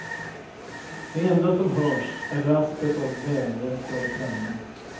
Det enda som hörs är raspet av välvässade pennor.